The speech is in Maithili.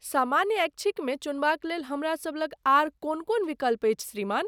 सामान्य ऐच्छिकमे चुनबाक लेल हमरासब लग आर कोन कोन विकल्प अछि श्रीमान?